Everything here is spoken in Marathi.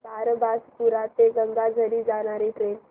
बारबासपुरा ते गंगाझरी जाणारी ट्रेन